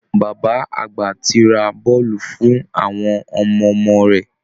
Bàbá àgbà ti ra bọ́ọ̀lù fún àwọn ọmọ ọmọ rẹ̀